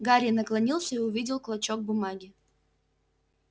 гарри наклонился и увидел клочок бумаги